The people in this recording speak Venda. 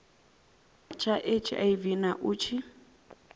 tsha hiv na u tshi